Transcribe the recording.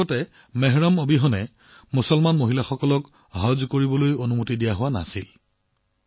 ইয়াৰ পূৰ্বে মেহৰাম অবিহনে মুছলমান মহিলাক হজ কৰিবলৈ দিয়া হোৱা নাছিল